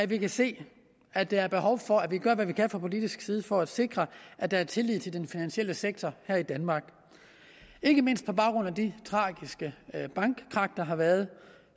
vi kan se at der er behov for at vi gør hvad vi kan fra politisk side for at sikre at der er tillid til den finansielle sektor her i danmark ikke mindst på baggrund af de tragiske bankkrak der har været